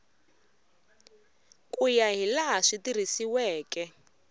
ku ya hilaha swi tirhisiweke